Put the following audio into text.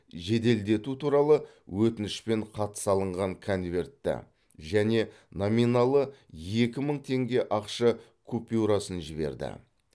жеделдету туралы өтінішпен хат салынған конвертті және номиналы екі мың теңге ақша купюрасын жіберді